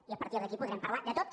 i a partir d’aquí podrem parlar de tot